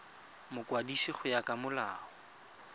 mokwadisi go ya ka molao